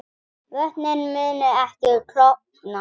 Vötnin munu ekki klofna